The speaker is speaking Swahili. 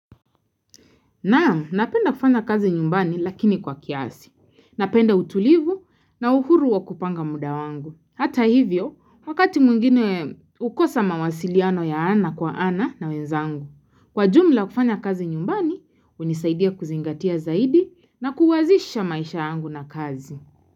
Na, napenda kufanya kazi nyumbani lakini kwa kiasi. Napenda utulivu na uhuru wa kupanga muda wangu. Hata hivyo, wakati mwingine ukosa mawasiliano ya ana kwa ana na wenzangu. Kwa jumla kufanya kazi nyumbani, unisaidia kuzingatia zaidi na kuwazisha maisha yangu na kazi.